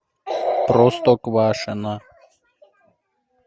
простоквашино